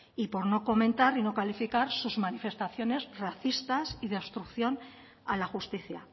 y por no comentar y no calificar sus manifestaciones racistas y de obstrucción a la justicia